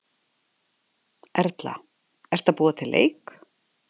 Erla: Ertu að búa til leik?